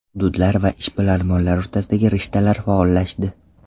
Hududlar va ishbilarmonlar o‘rtasidagi rishtalar faollashdi.